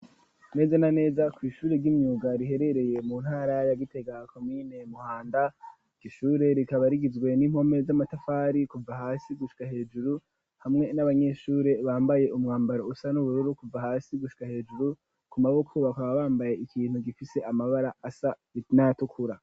Neze na neza kw'ishuri ry'imyuga riherereye mu ntara ya Gitega komine Muhanda iryo shure rikaba rigizwe n'impome z'amatafari kuva hasi gushika hejuru hamwe n'abanyeshure bambaye umwambaro usa n'ubururu kuva hasi gushika hejuru ku maboko baka bambaye ikintu gifise amabara asa nayatukura.